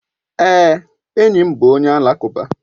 Èé, enyi m bụ onye alakụba.